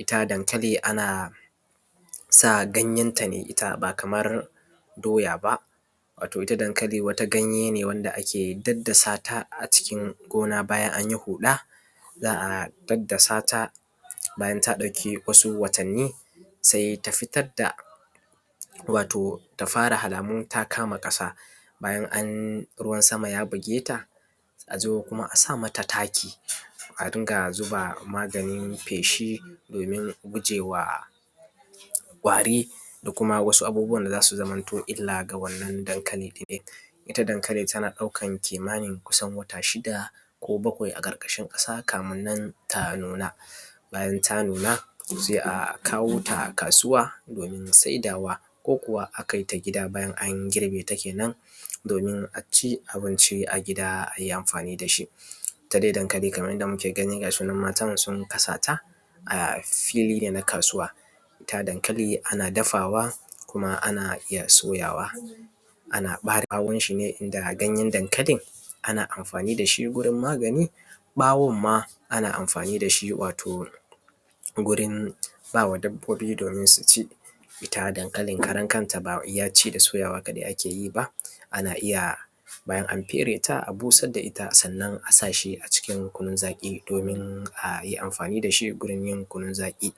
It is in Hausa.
itta dankali anasa ganyenta ne ita bakamar doya ba wato ita dankali wani ganye ne wanda ake daddasata a cikin gona bayan anyi huɗa za’a daddasata bayan ta ɗauki wasu watanni saita fitarda wato tafara halamun ta kama ƙasa bayan an ruwan sama ya bugeta azo kuma a sa mata taki, a rinka zuba maganin feshi domin gujewa kwari da kuma wasu abubuwan da zasu zamamto illa ga wannan dankali ɗin. Ita dankali tana ɗaukan kimanin kusan wata shida zuwa bakwai aƙarƙashin ƙasa kamin nan ta nuna, bayan ta nunasai a kawota kasuwa domin saidawa ko kuwa a kaita gida bayan an girbeta kenan domina ci abinci a gida ayi amfani dashi. Ita dai dankali Kaman yanda muke gani gashinan matan sun kasata a fili da na kasuwa, ita dankali ana dafawa kuma ana iyya soyawa ana ɓare ɓawonshi ne inda ganyen dakalin ana amfani dashi gurin magani ɓawonma ana amfani dashi wato gurin bawa dabbobi domin suci. Ita dankali karan kanta bawai ci da soyawa akeyi ba ana iya bayan fereta a busar dashi da iyya sannan a sashi cikin kunun zaƙi domin ayi amfani dashi gurin yin kunun zaƙi.